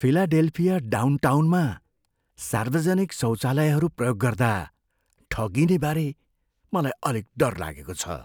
Philadelphia डाउनटाउनमा सार्वजनिक शौचालयहरू प्रयोग गर्दा ठगिनेबारे मलाई अलिक डर लागेको छ।